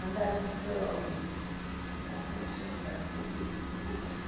Mandaram a gente para... Como é que chama aquela presídio?